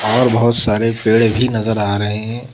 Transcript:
और बहुत सारे पेड़ भी नजर आ रहे हैं ।